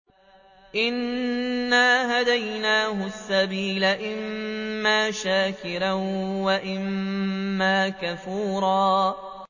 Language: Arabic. إِنَّا هَدَيْنَاهُ السَّبِيلَ إِمَّا شَاكِرًا وَإِمَّا كَفُورًا